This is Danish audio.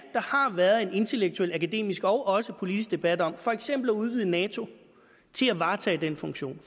har været en intellektuel akademisk og også politisk debat om for eksempel at udvide nato til at varetage den funktion